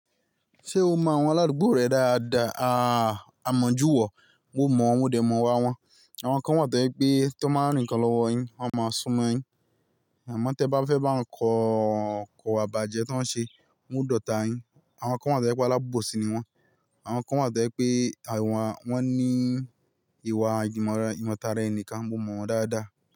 Ṣé o mọ àwọn aládùúgbò rẹ dáadáa? A mọ̀jú wọ̀, mo mọ̀ wọ́n dè mọ̀ wa wọ́n. Àwọn kan wà tó pé tón ba rì nkan lọ́wọ́ yín, wọ́n máa súnmọ́ yín. Àmọ́ tí ẹ̀ bá fẹ́ bá wọn kọ̀ kowa ibaje tó ń ṣe, wọ́n o dotà yín. Àwọn kan wà tó pé alábòsí ni wọ́n. Àwọn kan wà tó pé àwọn wọ́n ní ìwà ìmọ̀ tara ẹni kan, mo mọ̀ wọ́n dáadáa.